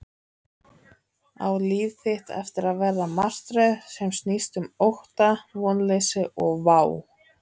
Á líf þitt eftir að verða martröð sem snýst um ótta, vonleysi og vá?